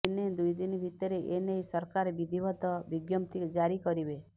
ଦିନେ ଦୁଇ ଦିନ ଭିତରେ ଏ ନେଇ ସରକାର ବିଧିବଦ୍ଧ ବିଜ୍ଞପ୍ତି ଜାରି କରିବେ